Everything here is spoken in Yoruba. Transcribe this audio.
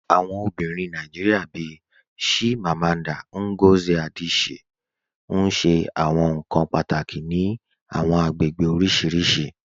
Awọn obìnrin Nàìjíríà bíì Chimamanda Ngozi Adichie n ṣẹ awọn nkan pátákì ní àwọn agbègbè oríṣiríṣì.